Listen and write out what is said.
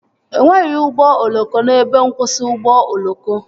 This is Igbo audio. E nweghị ụgbọ oloko n'ebe nkwụsị ụgbọ oloko